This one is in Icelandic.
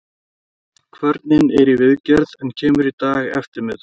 Kvörnin er í viðgerð en kemur í dag eftirmiðdag.